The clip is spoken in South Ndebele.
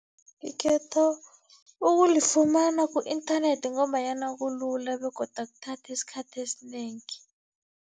Ikhetho ukulifumana ku-inthanethi, ngombanyana kulula begodu akuthathi isikhathi esinengi.